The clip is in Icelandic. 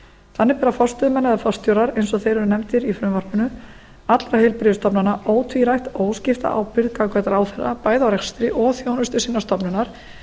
þannig bera forstöðumenn eða forstjórar eins og þeir eru nefndir í frumvarpinu allra heilbrigðisstofnana ótvírætt óskipta ábyrgð gagnvart ráðherra bæði á rekstri og þjónustu sinnar stofnunar